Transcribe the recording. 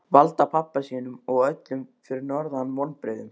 Valda pabba sínum og öllum fyrir norðan vonbrigðum.